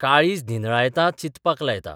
काळीज निन्हळायता चिंतपाक लायता.